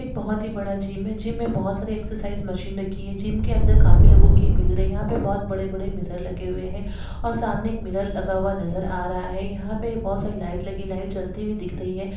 एक बहोत ही बड़ा जिम है जिम मे बोहोत सारी एक्सरसाइज़ मिशन रखी है जिम के अंदर काफी लोगो की भीड़ है यहा पे बोहोत बड़े बड़े मिरर लगे हुए है और सामने एक मिरर लगा हुआ नजर आ रहा है यहा पे बोहोत सारी लाइट लगी है लाइट जलती हुई दिख रही है।